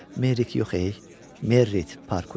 Merrik yox ey, Meritt Parkvey.